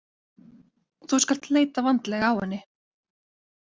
Þú skalt leita vandlega á henni.